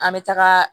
An bɛ taga